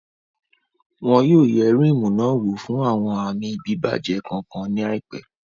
Wọn ò yẹ Ríímù náà wò fún àwọn àmì bíbàjẹ́ kankan ní àìpẹ́